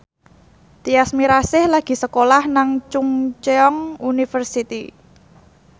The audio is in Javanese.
Tyas Mirasih lagi sekolah nang Chungceong University